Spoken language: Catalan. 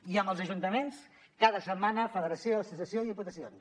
i amb els ajuntaments cada setmana federació associació i diputacions